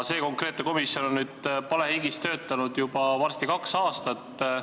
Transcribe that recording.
See konkreetne komisjon on palehigis töötanud juba varsti kaks aastat.